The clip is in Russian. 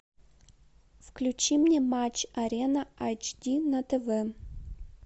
включи мне матч арена айч ди на тв